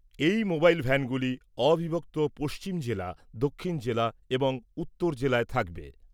এই মোবাইল ভ্যানগুলি অবিভক্ত পশ্চিম জেলা, দক্ষিণ জেলা এবং উত্তর জেলায় থাকবে।